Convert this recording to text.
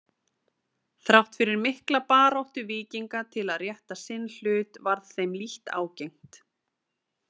Þrátt fyrir mikla baráttu Víkinga til að rétta sinn hlut varð þeim lítt ágengt.